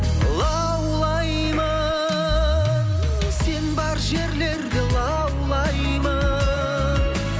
лаулаймын сен бар жерлерде лаулаймын